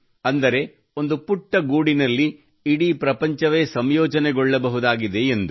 ಅಂದರೆ ಒಂದು ಪುಟ್ಟ ಗೂಡಿನಲ್ಲಿ ಇಡೀ ಪ್ರಪಂಚವೇ ಸಂಯೋಜನೆಗೊಳ್ಳಬಹುದಾಗಿದೆ ಎಂದು